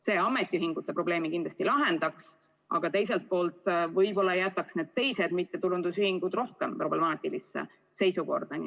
See ametiühingute probleemi kindlasti lahendaks, aga teiselt poolt võib-olla jätaks teised mittetulundusühingud rohkem problemaatilisse seisukorda.